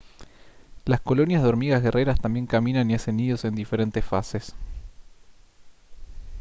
las colonias de hormigas guerreras también caminan y hacen nidos en diferentes fases